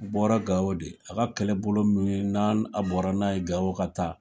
Bɔra Gao de, a ka kɛlɛbolo min n'a n a bɔra n'a ye Gao ka taa